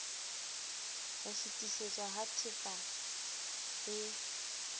ho fetisetswa ha tehpa e